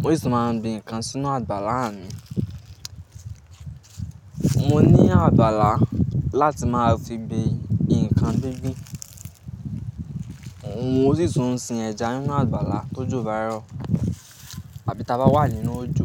mo sì ti máa ń gbé nǹkan sínú àgbàlá mi. Mo ní àgbàlá láti máa fi gbé nǹkan gbíngbín. Mo sì tún sin ẹja nínú àgbàlá tó jọ̀ bá rọ̀ àbí taba wà nínú òjò.